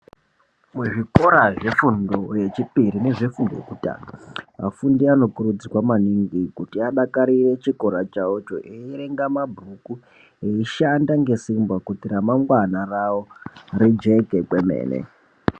Muzvikora zvefundo yechipiri nezvefundo yekutanga afundi anokurudzirwa maningi kuti adakarire chikora chawocho eierenga mabhuku, eishanda ngesimba kuti ramangwana rawo rijeke kwemene.